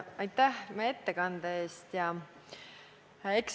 Aitäh ettekande eest!